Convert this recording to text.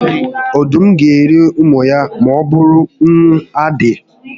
Ọdụm gá eri ụmụ ya ma ọbụrụ na ụnwụ adị